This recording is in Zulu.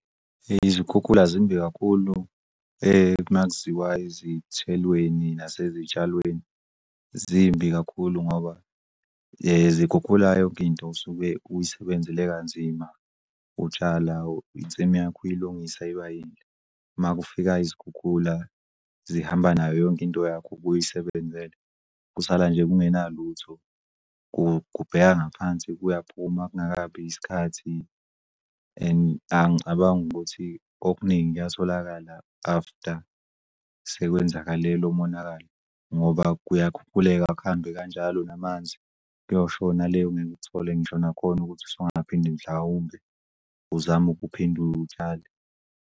Izikhukhula zimbi kakhulu makuziwa ezithelweni nasezitshalweni zimbi kakhulu ngoba zikhukhula yonkinto osuke uyisebenzele kanzima utshala insimu yakho uyilungisa kanzima. Makufika izikhukhula zihamba nayo yonkinto yakho obuyisebenzela, kusala nje kungenalutho. Kubheka ngaphansi kuyaphuma kungakabi isikhathi and angicabangi ukuthi okuningi kuyatholakala after sekwenzakale lomonakalo ngoba kuyakhukhuleka kuhambe kanjalo namanzi kuyoshona le. Ngeke uthole ngisho nakhona ukuthi usungaphinde mhlawumbe uzame ukuphinde atshale.